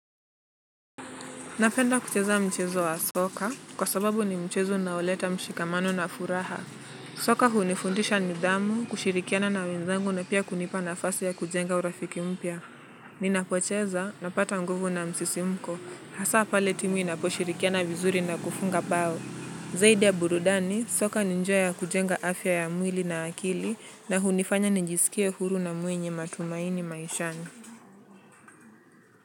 Napenda kucheza mchezo wa soka, kwa sababu ni mchezo unaoleta mshikamano na furaha. Soka hunifundisha nidhamu, kushirikiana na wenzangu na pia kunipa nafasi ya kujenga urafiki mpia. Ninapocheza, napata nguvu na msisimko. Hasa pale timu inaposhirikiana vizuri na kufunga pao. Zaidi ya burudani, soka ni njiya ya kujenga afya ya mwili na akili na hunifanya ninjisikie huru na mwenye matumaini maishani.